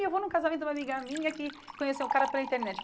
E eu vou num casamento de uma amiga minha que conheceu um cara pela internet.